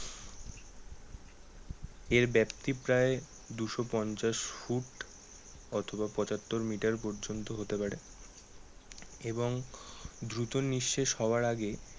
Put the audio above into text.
এর ব্যাপ্তি প্রায় দুশো পঞ্চাশ ফুট অথবা পঁচাত্তর মিটার পর্যন্ত হতে পারে। এবং দ্রুত নিঃশেষ হওয়ার আগে